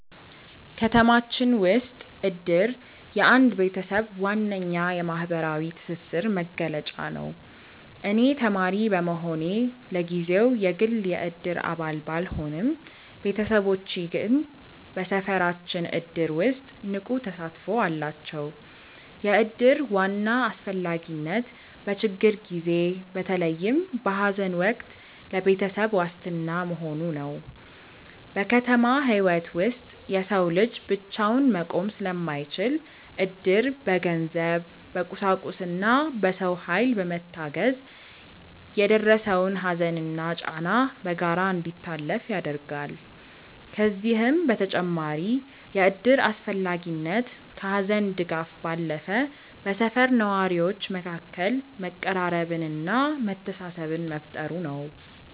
ከተማችን ውስጥ እድር የአንድ ቤተሰብ ዋነኛ የማህበራዊ ትስስር መገለጫ ነው። እኔ ተማሪ በመሆኔ ለጊዜው የግል የእድር አባል ባልሆንም፣ ቤተሰቦቼ ግን በሰፈራችን እድር ውስጥ ንቁ ተሳትፎ አላቸው። የእድር ዋና አስፈላጊነት በችግር ጊዜ፣ በተለይም በሐዘን ወቅት ለቤተሰብ ዋስትና መሆኑ ነው። በከተማ ህይወት ውስጥ የሰው ልጅ ብቻውን መቆም ስለማይችል፣ እድር በገንዘብ፣ በቁሳቁስና በሰው ኃይል በመታገዝ የደረሰውን ሐዘንና ጫና በጋራ እንዲታለፍ ያደርጋል። ከዚህም በተጨማሪ የእድር አስፈላጊነት ከሐዘን ድጋፍ ባለፈ በሰፈር ነዋሪዎች መካከል መቀራረብንና መተሳሰብን መፍጠሩ ነው።